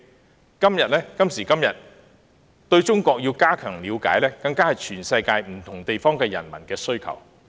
有鑒於此，加強對中國的了解，亦是全世界不同地區人民在今時今日所應做的事。